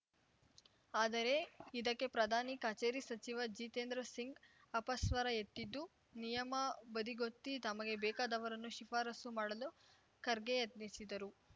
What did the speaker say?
ಆದರೆ ಇದಕ್ಕೆ ಪ್ರಧಾನಿ ಕಚೇರಿ ಸಚಿವ ಜಿತೇಂದ್ರ ಸಿಂಗ್‌ ಅಪಸ್ವರ ಎತ್ತಿದ್ದು ನಿಯಮ ಬದಿಗೊತ್ತಿ ತಮಗೆ ಬೇಕಾದವರನ್ನು ಶಿಫಾರಸು ಮಾಡಲು ಖರ್ಗೆ ಯತ್ನಿಸಿದರು